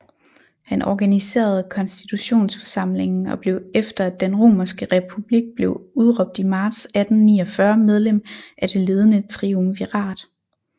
Han organiserede konstituionsforsamlingen og blev efter at den romerske repbulik blev udråbt i marts 1849 medlem af det ledende triumvirat